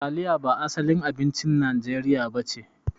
Taliya ba asalin abincin najeriya nace.